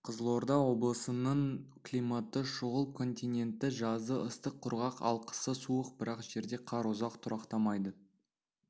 қызылорда облысының климаты шұғыл континентті жазы ыстық құрғақ ал қысы суық бірақ жерде қар ұзақ тұрақтамайды